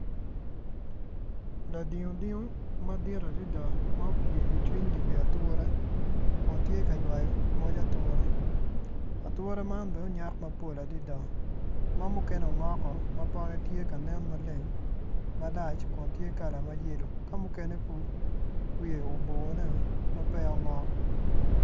Ladingo dingo madit adada ma opye i cwiny dye wiye ature kun tye ka ywayo moc ature ature man bene onyak maber adada ma mukene ongok woko ma pote tye maleng malac ma tye ma yelo ma mukene wiye oboneo ma peya ongok.